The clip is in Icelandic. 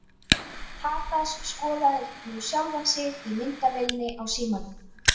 Tadas skoðaði nú sjálfan sig í myndavélinni á símanum.